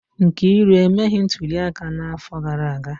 Nkiru emeghị ntuli aka n'afọ gara aga